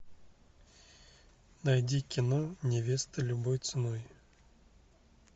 найди кино невеста любой ценой